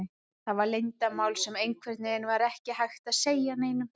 Það var leyndarmál sem einhvern veginn var ekki hægt að segja neinum.